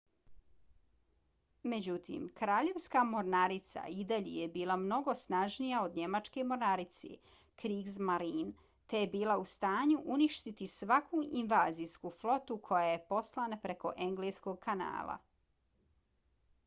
međutim kraljevska mornarica i dalje je bila mnogo snažnija od njemačke mornarice kriegsmarine te je bila u stanju uništiti svaku invazijsku flotu koja je poslana preko engleskog kanala